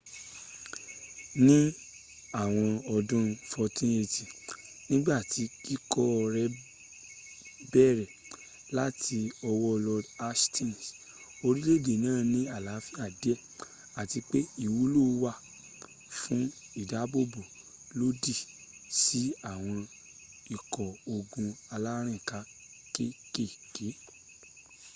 ní àwọn ọdún 1480 nígbàtí kíkọ́ rẹ bẹ̀rẹ̀ láti ọwọ́ lord hastings orílè-èdè náà ní àlàáfíà díè àti pe ìwúlò wà fún ìdábòbò lòdì sí àwọn ikọ́ ogun alárìnká kékèké